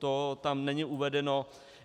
To tam není uvedeno.